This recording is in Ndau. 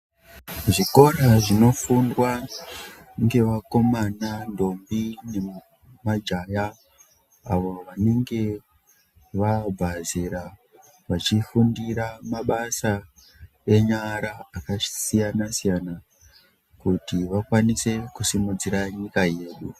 Zvikora zvinofundwa ngevakomana, ndombi nemajaya avo vanenge vabva zera vachifundira mabasa enyara akasiyana siyana kuti vakwanise kusimudzira nyika ino.